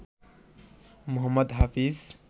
Mohammad Hafeez